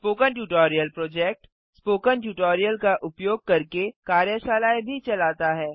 spoken tutorial project - spoken tutorial का उपयोग करके कार्यशालाएँ भी चलाता है